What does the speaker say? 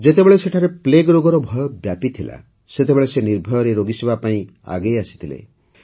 ଯେତେବେଳେ ସେଠାରେ ପ୍ଲେଗ୍ ରୋଗର ଭୟ ବ୍ୟାପିଥିଲା ସେତେବେଳେ ସେ ନିର୍ଭୟରେ ରୋଗୀସେବା ପାଇଁ ଆଗେଇ ଆସିଥିଲେ